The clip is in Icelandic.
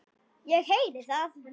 Ég heyri það.